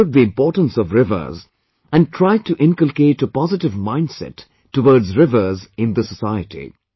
They understood the importance of rivers, and tried to inculcate a positive mindset towards rivers in the society